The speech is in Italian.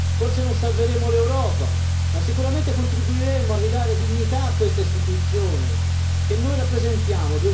Forse non salveremo l'Europa, ma sicuramente contribuiremo a ridare dignità a questa Istituzione che noi rappresentiamo